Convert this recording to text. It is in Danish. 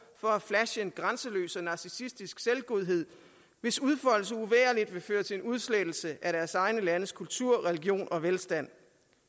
for at flashe en grænseløs og narcissistisk selvgodhed hvis udfoldelse uvægerligt vil føre til en udslettelse af deres egne landes kultur religion og velstand